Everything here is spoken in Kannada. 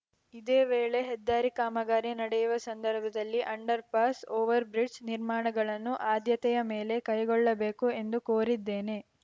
ಇದೇ ವೇಳೆ ಹೆದ್ದಾರಿ ಕಾಮಗಾರಿ ನಡೆಯುವ ಸಂದರ್ಭದಲ್ಲಿ ಅಂಡರ್‌ ಪಾಸ್‌ ಓವರ್‌ಬ್ರಿಡ್ಜ್‌ ನಿರ್ಮಾಣಗಳನ್ನು ಆದ್ಯತೆಯ ಮೇಲೆ ಕೈಗೊಳ್ಳಬೇಕು ಎಂದು ಕೋರಿದ್ದೇನೆ